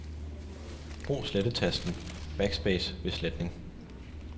Brug slettetasten Backspace ved sletning.